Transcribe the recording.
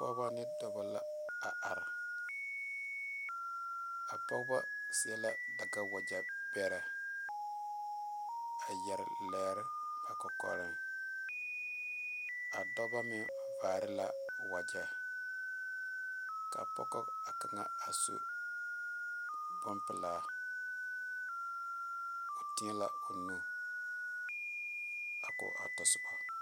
Pɔgeba ne dɔɔbo la a are a pɔgeba seɛ la dagawagye pɛre a yeere lɛɛre ba kɔkɔre a dɔɔba mine vaare la wagye kaa pɔge a kaŋa a su bonpelaa o teɛ la o nu a ko a tasoba.